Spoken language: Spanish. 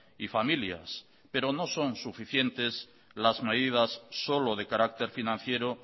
y familias pero no son suficientes las medidas solo de carácter financiero